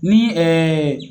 Ni